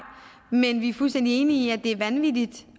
men vi er fuldstændig enige i at det er vanvittigt